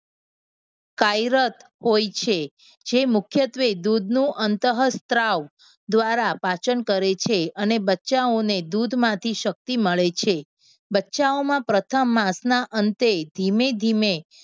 કાર્યરત હોય છે. જે મુખ્યત્વે દૂધનું અંતઃસ્ત્રાવ દ્વારા પાચન કરે છે. અને બચ્ચાઓને દૂધમાંથી શક્તિ મળે છે. બચ્ચાઓમાં પ્રથમ માસના અંતે ધીમે ધીમે